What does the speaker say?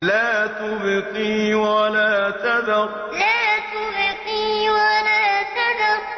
لَا تُبْقِي وَلَا تَذَرُ لَا تُبْقِي وَلَا تَذَرُ